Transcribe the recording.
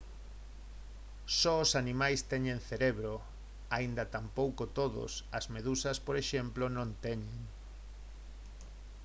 só os animais teñen cerebro aínda tampouco todos; as medusas por exemplo non teñen